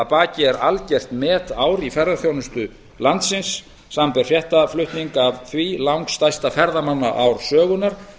að baki er algjört metár í ferðaþjónustu landsins samanber fréttaflutning af því langstærsta ferðamannaár sögunnar